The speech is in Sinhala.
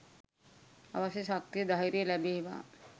අවශ්‍ය ශක්තිය ධෛර්‍යය ලැබේවා